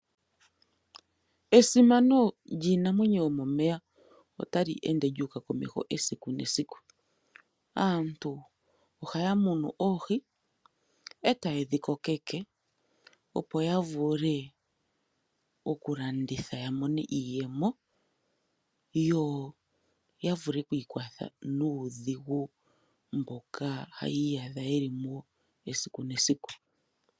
Esimano lyiinamwenyo yomomeya otali ende lyuuka komeho esiku nesiku . Aantu ohaya munu oohi eta ye dhi kokeke opo ya vule okulanditha yamone iiyemo yo ya vule okwiikwatha nuudhigu mboka haya iyadha yeli mo esiku nesiku .